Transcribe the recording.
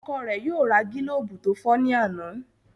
Ọkọ rẹ yóò ra gilobu to fọ ní àna.